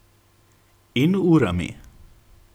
In urami.